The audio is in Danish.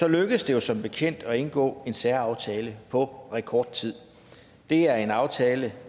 lykkedes det jo som bekendt at indgå en større aftale på rekordtid det er en aftale